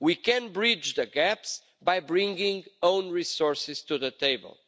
We can bridge the gaps by bringing own resources to the table.